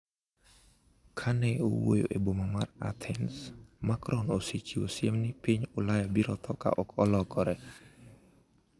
Ka ne owuoyo e boma mar Athens, Macron osechiwo siem ni piny Ulaya biro tho ka ok olokore .